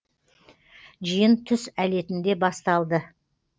жиын түс әлетінде басталды